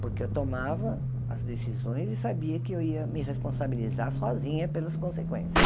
Porque eu tomava as decisões e sabia que eu ia me responsabilizar sozinha pelas consequências.